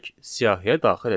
Siyahıya daxil edək.